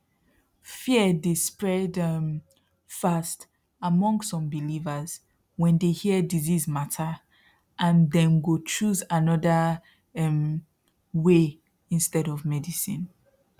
fear the spread um fast among some believers when they hear disease matter and then go choose another um way instead of medicine